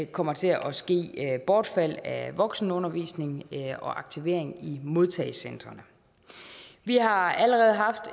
kommer til at at ske bortfald af voksenundervisning og aktivering i modtagecentrene vi har allerede haft